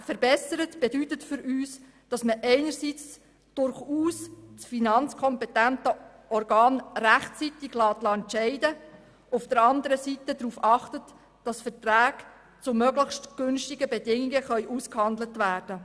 Verbessert bedeutet für uns, dass man einerseits das finanzkompetente Organ rechtzeitig entscheiden lässt und anderseits darauf achtet, dass Verträge zu möglichst günstigen Bedingungen ausgehandelt werden.